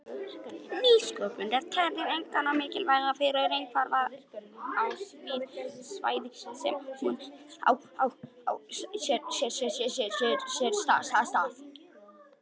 Nýsköpun er talin einkar mikilvæg fyrir efnahagslífið á því svæði sem hún á sér stað.